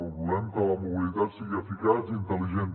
volem que la mobilitat sigui eficaç i intel·ligent